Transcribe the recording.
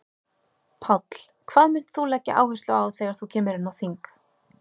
Páll: Hvað munt þú leggja áherslu á þegar þú kemur inn á þing?